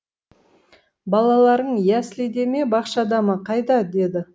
балаларың яслиде ме бақшада ма қайда деді